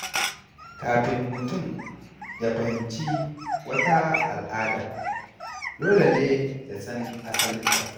Kafin mutum ya fahimci wata al’ada, dole ne ya san asalinta.